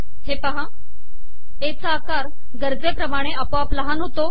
ए चा आकार गरजेपमाणे आपोआप लहान होतो